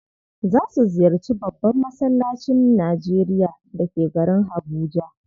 Za su ziyarci babban massalacin Najeria da ke garin Habuja.